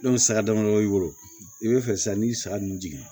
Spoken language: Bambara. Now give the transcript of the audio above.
saga dama dama b'i bolo i bɛ fɛ san n'i ye saga ninnu jigin